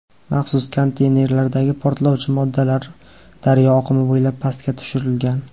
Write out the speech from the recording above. Maxsus konteynerlardagi portlovchi moddalar daryo oqimi bo‘ylab pastga tushirilgan.